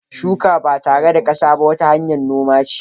Shuka ba tare da kasa ba wata hanyar noma che.